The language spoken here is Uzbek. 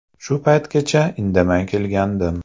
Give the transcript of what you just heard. Shu paytgacha indamay kelgandim.